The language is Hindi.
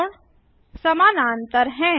कोण समानांतर हैं